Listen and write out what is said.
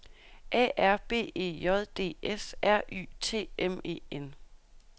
A R B E J D S R Y T M E N